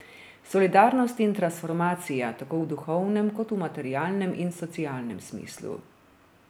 Solidarnost in transformacija, tako v duhovnem kot v materialnem in socialnem smislu.